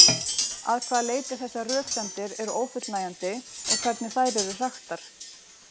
Að hvaða leyti þessar röksemdir eru ófullnægjandi og hvernig þær eru hraktar.